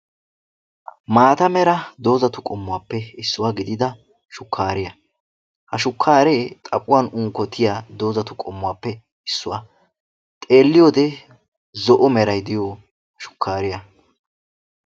Maata mera doozatu qommuwaappe issuwa gidida shukaariya ha shukaaree xaphuwan unkkotiya doozatuppe issuwa. xeeliyoode zo'o meray diyo shukaariya.